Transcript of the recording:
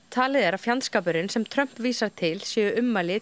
talið er að fjandskapurinn sem Trump vísar til séu ummæli